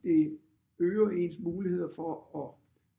Det øger ens muligheder for